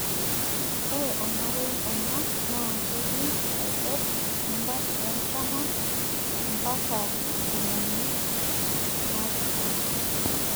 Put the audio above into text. ore tolmarei ono naa kejing esajata e artama ampak ntomoni naapishana